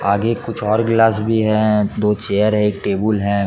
आगे कुछ और गिलास भी है दो चेयर है एक टेबुल है।